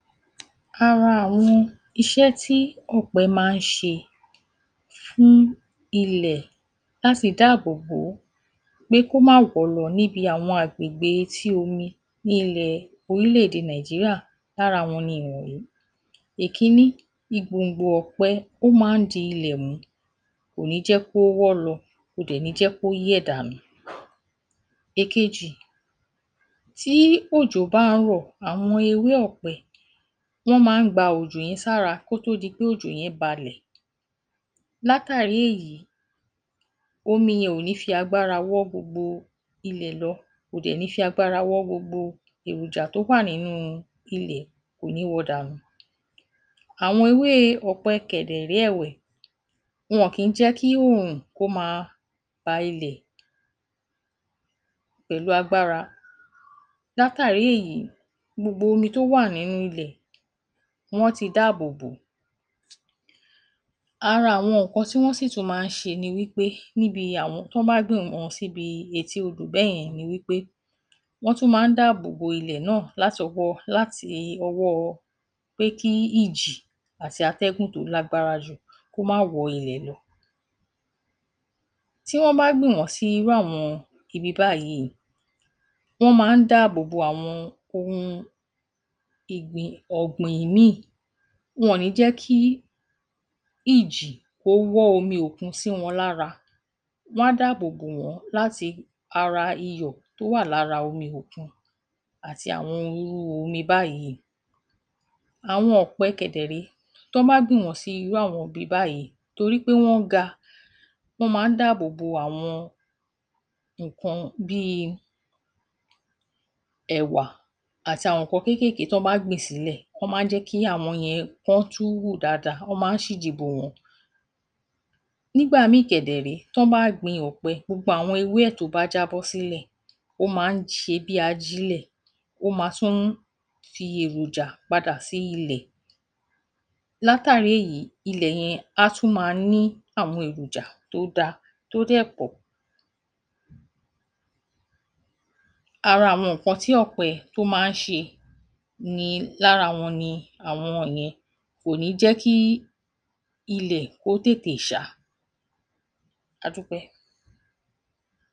Ara àwọn iṣé tí ọ̀pẹ máa ń ṣe fún ilẹ̀ láti dáàbò bò ó pé kó má wọ́ lọ níbi àwọn agbègbè etí omi ni ilẹ̀ orílẹ̀-èdè Nàìjíríà, lára wọn ni ìwòׅ̣nyí. Ìkíni igbòǹgbò ọ̀pẹ, ó máa ń di ilẹ̀ mú, kò ní jẹ́ kó wọ́ lọ, kò dẹ̀ ní jẹ́ kó yẹ̀ dànù. Ìkejì, tí òjò bá ń rò àwọn ewé ọ̀pẹ, wọ́n máa ń gba òjò yẹn sára kó tó di pé òjò yẹn balẹ̀, látàrí èyí omi yẹn ò ní fi agbára wọ́ gbogbo ilẹ̀ lọ, kò dẹ̀ ní fi agbára wọ́ gbogbo èròjà tó wà nínú ilẹ̀, kò ní wọ dànù. Àwọn ewé ọ̀pẹ kẹ̀ dẹ̀ rèé ẹ̀wẹ̀, wọn kì í jẹ́ kí oòrùn kó máa pa ilẹ̀ pẹ̀lú agbára, látàrí èyí gbogbo omi tó wà nínú ilé, wọ́n tí dáàbò bò ó, ara àwọn nǹkan tí wọ́n sì tún máa ń ṣe ní wípé níbi àwọn, tán bá gbìn wọ́n síbi etí odò bẹ́yen ni wípé, wọ́n tún máa ń dáàbò bo ilẹ̀ náà látọwọ́, láti ọwọ́ pé kí ìjì àti atẹ́gùn tó lágbára jù kó má wọ́ ilẹ̀ lọ. Tí wọ́n bá gbìn wọ́n sí irú àwọn ibi báyìí, wọ́n máa ń dáàbò bo àwọn óhùn ìgbìn, ogbin míì, wọn ò níí jẹ́ kí ìjì ó wọ́n omi òkun sì wọn lára, wọn á dáàbò bò wọ́n láti ara iyọ̀ tó wà lára omi òkun àti àwọn irú omi báyìí. Àwọn ọ̀pẹ kẹ̀ dẹ̀ rèé, tán bá gbìn wọ́n sí irú àwọn ibi báyìí, torí pé wọ́n ga, wọ́n máa ń dáàbò bo àwọn nǹkan bíi ẹ̀wà, àti àwọn nǹkan kéékèèkéé tán bá gbìn sílè, wón máa ń jẹ́ kí àwọn yẹn kán tún hù dáadáa, wọ́n máa ń ṣíji bò wọ́n. Nígbà míì kẹ̀ dẹ̀ rèé, tán bá gbin ọ̀pẹ, gbogbo àwọn ewé ẹ̀ tó bá jábọ́ sílẹ̀, ó máa ń ṣe bí ajile, ó máa tún fi èròjà padà sí ilẹ̀, látàrí èyí ilẹ̀ yẹn á tún máa ní àwọn èròjà tó dáa, tó dẹ̀ pọ̀. Ara awọn nǹkan tí ọ̀pẹ tó máa ń ṣe ni lára wọn ni àwọn yẹn, kò níí jẹ́ kí ilẹ̀ kó tètè ṣá. A dúpẹ́.